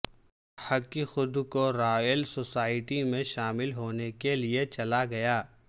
ہک خود کو Royal Society میں شامل ہونے کے لئے چلا گیا